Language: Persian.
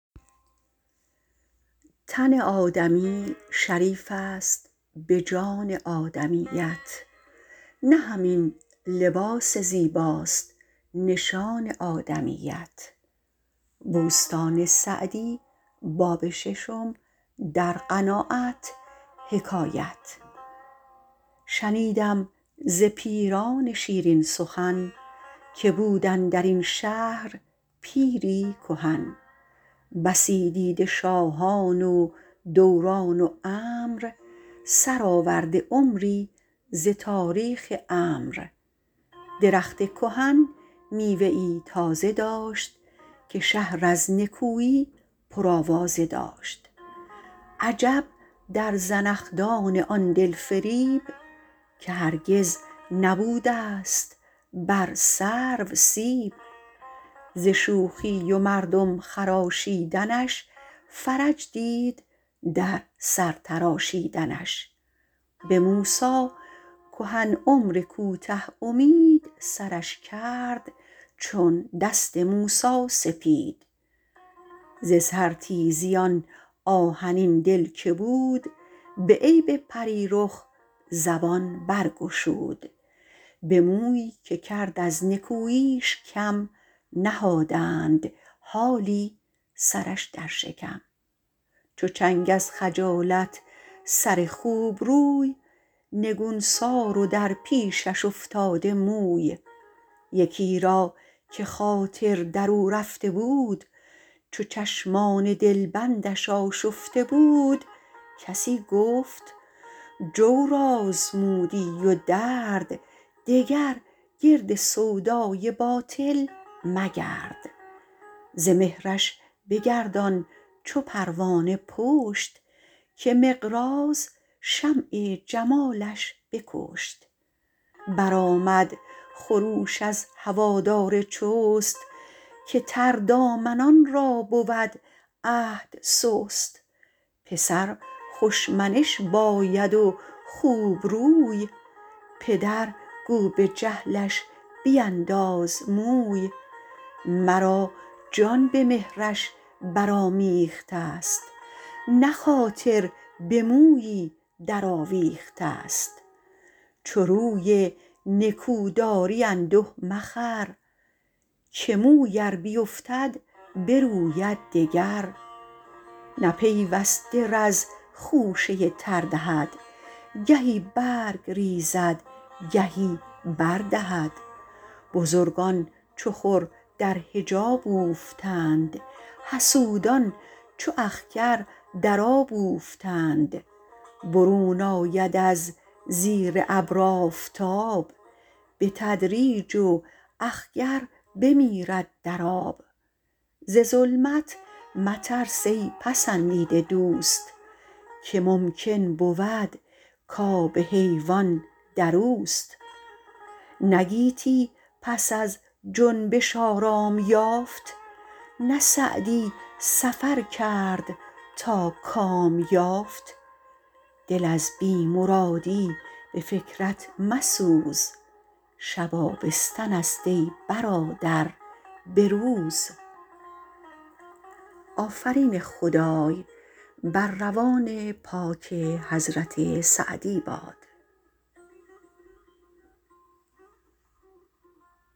شنیدم ز پیران شیرین سخن که بود اندر این شهر پیری کهن بسی دیده شاهان و دوران و امر سرآورده عمری ز تاریخ عمرو درخت کهن میوه ای تازه داشت که شهر از نکویی پرآوازه داشت عجب در زنخدان آن دل فریب که هرگز نبوده ست بر سرو سیب ز شوخی و مردم خراشیدنش فرج دید در سر تراشیدنش به موسی کهن عمر کوته امید سرش کرد چون دست موسی سپید ز سر تیزی آن آهنین دل که بود به عیب پری رخ زبان برگشود به مویی که کرد از نکوییش کم نهادند حالی سرش در شکم چو چنگ از خجالت سر خوبروی نگونسار و در پیشش افتاده موی یکی را که خاطر در او رفته بود چو چشمان دلبندش آشفته بود کسی گفت جور آزمودی و درد دگر گرد سودای باطل مگرد ز مهرش بگردان چو پروانه پشت که مقراض شمع جمالش بکشت برآمد خروش از هوادار چست که تردامنان را بود عهد سست پسر خوش منش باید و خوبروی پدر گو به جهلش بینداز موی مرا جان به مهرش برآمیخته ست نه خاطر به مویی در آویخته ست چو روی نکو داری انده مخور که موی ار بیفتد بروید دگر نه پیوسته رز خوشه تر دهد گهی برگ ریزد گهی بر دهد بزرگان چو خور در حجاب اوفتند حسودان چو اخگر در آب اوفتند برون آید از زیر ابر آفتاب به تدریج و اخگر بمیرد در آب ز ظلمت مترس ای پسندیده دوست که ممکن بود کاب حیوان در اوست نه گیتی پس از جنبش آرام یافت نه سعدی سفر کرد تا کام یافت دل از بی مرادی به فکرت مسوز شب آبستن است ای برادر به روز